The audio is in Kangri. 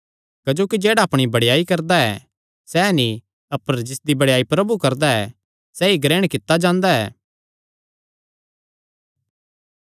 क्जोकि जेह्ड़ा अपणी बड़ेयाई करदा ऐ सैह़ नीं अपर जिसदी बड़ेयाई प्रभु करदा ऐ सैई ग्रहण कित्ता जांदा ऐ